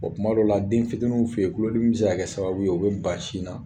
Bɔn tuma dɔw la, den fitiniw fɛ yen, kulodimi bɛ se ka kɛ sababu ye, u bɛ ban sin na.